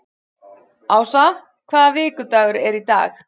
Ása, hvaða vikudagur er í dag?